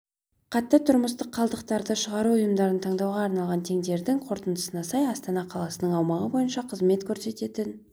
қатты тұрмыстық қалдықтарды шығару ұйымдарын таңдауға арналған тендердің қорытындысына сай астана қаласының аумағы бойынша қызмет көрсететін